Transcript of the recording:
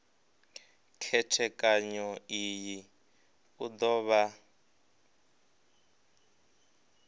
khethekanyo iyi u do vha